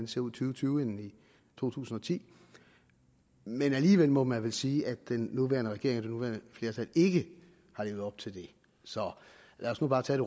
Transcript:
tusind og tyve end i to tusind og ti men alligevel må man vel sige at den nuværende regering og det nuværende flertal ikke har levet op til det så lad os nu bare tage